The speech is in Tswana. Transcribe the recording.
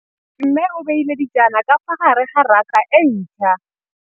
Mmê o beile dijana ka fa gare ga raka e ntšha.